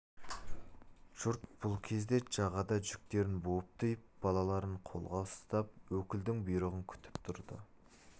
жұрт бұл кезде жағада жүктерін буып-түйіп балаларын қолға ұстап өкілдің бұйрығын күтіп тұрды